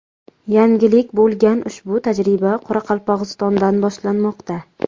Yangilik bo‘lgan ushbu tajriba Qoraqalpog‘istondan boshlanmoqda.